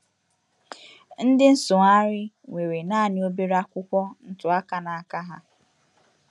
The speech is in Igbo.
Ndị nsụgharị nwere naanị obere akwụkwọ ntụaka n’aka ha.